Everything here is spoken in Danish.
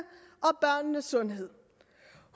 at sundhed